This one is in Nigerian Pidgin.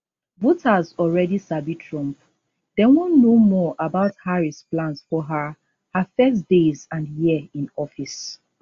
voters alreadi sabi trump dem wan know more about harris plans for her her first days and year in office